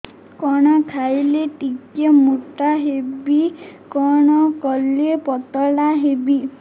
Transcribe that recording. କଣ ଖାଇଲେ ଟିକେ ମୁଟା ହେବି କଣ କଲେ ପତଳା ହେବି